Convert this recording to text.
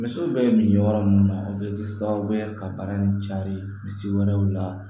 Misiw bɛ min yɔrɔ mun na o bɛ kɛ sababu ye ka bana nin cari misi wɛrɛw la